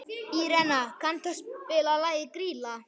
Írena, kanntu að spila lagið „Grýla“?